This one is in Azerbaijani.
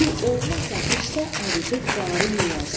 Su olmasa qışda əridib qarı yeyərsən.